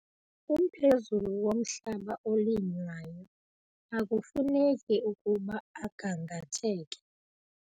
Umphezulu womhlaba olinywayo akufuneki ukuba ugangatheke